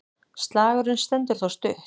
Slagurinn stendur þó stutt.